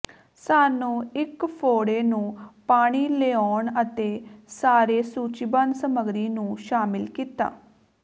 ਸਾਨੂੰ ਇੱਕ ਫ਼ੋੜੇ ਨੂੰ ਪਾਣੀ ਲਿਆਉਣ ਅਤੇ ਸਾਰੇ ਸੂਚੀਬੱਧ ਸਮੱਗਰੀ ਨੂੰ ਸ਼ਾਮਿਲ ਕੀਤਾ